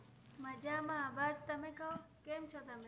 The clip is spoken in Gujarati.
મજામા બસ તમે કો કેમ છો તમે